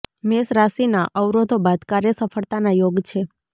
મેષ રાશિના અવરોધો બાદ કાર્ય સફળતાના યોગ છે